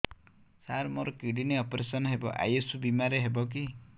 ସାର ମୋର kidney operation ହେବ ଆୟୁଷ ବିମାରେ ହେବ କି